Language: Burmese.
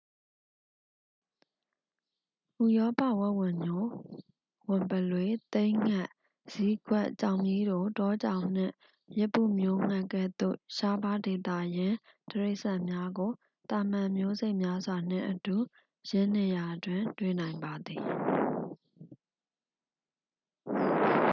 ဥရောပဝက်ဝံညို ဝံပုလွေ သိန်းငှက် ဇီးကွက် ကြောင်မြီးတို တောကြောင်နှင့် ရစ်ပုမျိုးငှက် ကဲ့သို့ ရှားပါး ဒေသရင်း တိရစ္ဆန်များကို သာမန်မျိုးစိတ်များစွာ နှင့်အတူ ယင်းနေရာတွင် တွေ့နိုင်ပါသည်